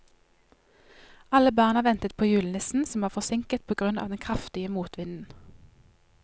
Alle barna ventet på julenissen, som var forsinket på grunn av den kraftige motvinden.